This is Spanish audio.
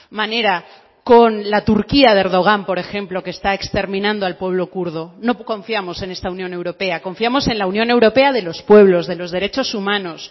manera con la turquía de erdogan por ejemplo que está exterminando al pueblo kurdo no confiamos en esta unión europea confiamos en la unión europea de los pueblos de los derechos humanos